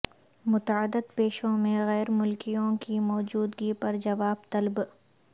متعدد پیشوں میں غیر ملکیوں کی موجودگی پر جواب طلب